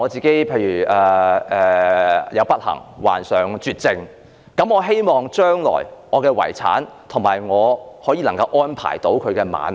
假如我不幸患上絕症，我希望安排我的遺產，讓我的伴侶能夠安享晚年。